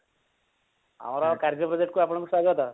ଆମର ଏ କାର୍ଯ୍ୟ project କୁ ଆପଣଙ୍କୁ ସ୍ଵାଗତ